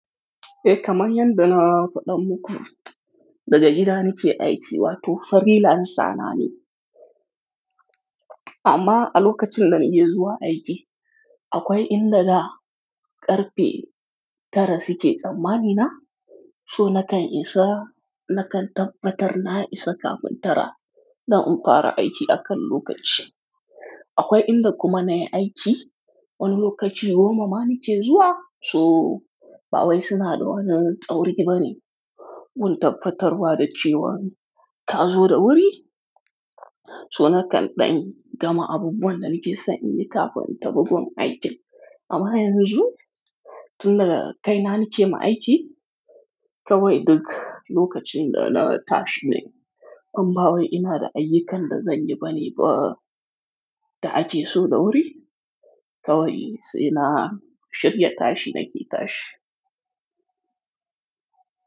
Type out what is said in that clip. Eh, kamar yadda na faɗa muku, daga gida nake aiki, wato freelance sanane amma a lokacin da nake zuwa aiki, akwai inda da ƙarfe tara suke tsammani na, so nakan isa, nakan tabbatar na isa kafin tara don in fara aiki akan lokaci. Akwai inda kuma na yi aiki wani lokaci goma ma nake zuwa, so, ba wai suna da wani tsauri ba ne wutar fattarwa da cewa ka zo da wuri. So nakan ɗan gama abubuwan da nake so in yi kafin ta buga aikin. Amma yanzu, tun daga kai na nake ma aiki, kawai duk lokacin da na tashi ne. Amma wai ina da ayyukan da zanyi bane ba da ake so da wuri, kawai sai na shirya tashi nake tashi.